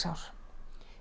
ár